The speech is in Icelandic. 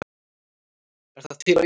Er það til á íslensku?